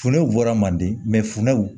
Funɛw bɔra manden fundɛw